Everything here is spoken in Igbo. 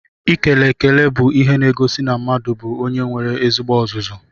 Ikele ekele bú ihe n'egosi na mmadụ bú onye nwere ezigbo ọzụzụ.